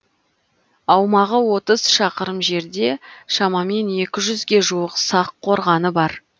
аумағы отыз шақырым жерде шамамен екі жүзге жуық сақ қорғаны бар